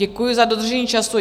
Děkuji za dodržení času.